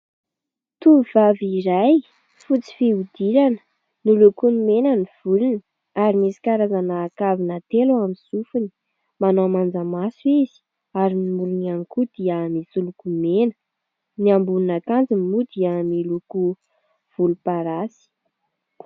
Tovovavy iray fotsy fihodirana miloko mena ny volony ary misy karazana kavina telo amin'ny sofony. Manao manjamaso izy ary ny molony ihany koa dia misy lokomena, ny ambonina akanjony moa dia miloko volomparasy.